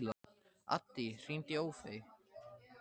Addý, hringdu í Ófeig.